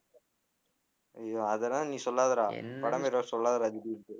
ஐயோ அதெல்லாம் நீ சொல்லாதடா படம் எதாவது சொல்லாதடா திடீர்னுட்டு